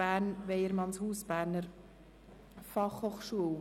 «Bern, Weyermannshaus, Berner Fachhochschule».